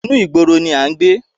Inú ìgboro ni a ń gbé